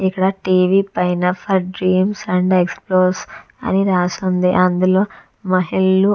ఇక్కడ T. V. పైన for dreams and explorers అని రాసి ఉంది అందులో మహిళలు --